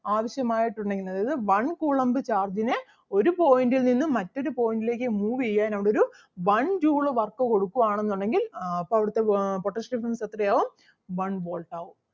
ആവശ്യമായിട്ട് ഉള്ള അതായത് one coulomb charge ന് ഒരു point ൽ നിന്നും മറ്റൊരു point ലേക്ക് move ചെയ്യാൻ അവിടൊരു one joule work കൊടുക്കുവാണെന്നുണ്ടെങ്കിൽ ആഹ് അപ്പൊ അവിടുത്തെ ആഹ് potential difference എത്രയാകും one Volt ആകും.